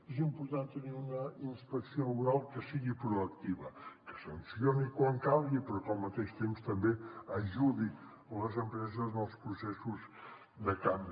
és important tenir una inspecció laboral que sigui proactiva que sancioni quan calgui però que al mateix temps també ajudi les empreses en els processos de canvi